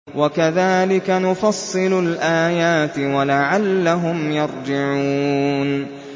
وَكَذَٰلِكَ نُفَصِّلُ الْآيَاتِ وَلَعَلَّهُمْ يَرْجِعُونَ